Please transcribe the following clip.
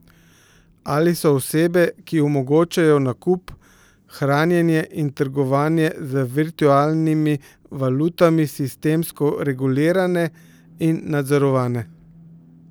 Ali so osebe, ki omogočajo nakup, hranjenje in trgovanje z virtualnimi valutami sistemsko regulirane in nadzorovane?